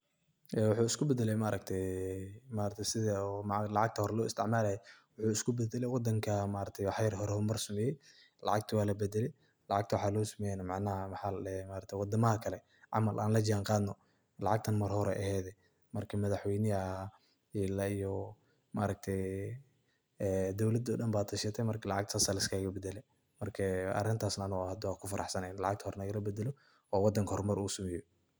Ee waxuu isku badalay maaragtay sethi lacagta horay lo isticmalay, waxuu isku badalay wadanka waxayar hor mar sameeye lacagta wa la badelay hada waxa lao someeye ee maaragtay wadamaha Kali Aya lajanqadnoo marki madaxweeyna ila eyoo maargtahay dowalada oo dhan Aya tashatay marka lacagta sethasi Aya lisgaka badalay sethi wadanga hor mar u sameeyoh .